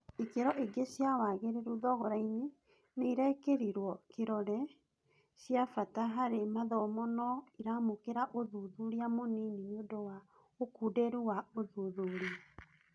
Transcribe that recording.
Ikĩro ingĩ cia wagĩrĩru thogorainĩ nĩirekĩrirwo kĩrore za ciabata harĩ mathomo no iramũkira ũthuthuria mũnini nĩ ũndũ wa ũkunderu wa ũthuthuria.